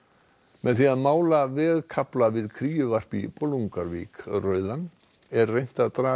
með því að mála vegkafla við kríuvarp í Bolungarvík rauðan er reynt að draga